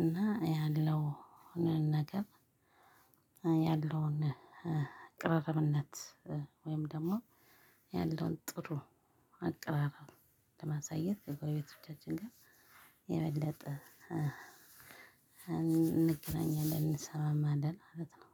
እና ያለው ነገር ያለውን ቅርርብነት ወይም ደግሞ ያለውን ጥሩ አቅራረብ ለማሳየት ከጎረቤቶቻችን ጋር የበለጠ እንገናኛለን እንሰማማለን ማለት ነው።